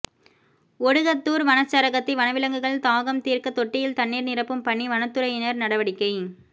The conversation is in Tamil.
ஒடுகத்தூர் வனச்சரகத்தில் வனவிலங்குகள் தாகம் தீர்க்க தொட்டியில் தண்ணீர் நிரப்பும் பணி வனதுறையினர் நடவடிக்கை